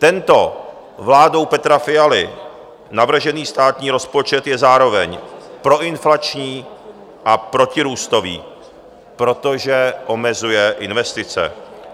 Tento vládou Petra Fialy navržený státní rozpočet je zároveň proinflační a protirůstový, protože omezuje investice.